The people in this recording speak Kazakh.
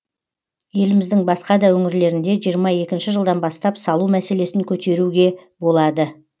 еліміздің басқа да өңірлерінде жиырма екінші жылдан бастап салу мәселесін көтеруге болады